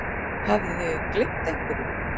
Hafði gleymt einhverju.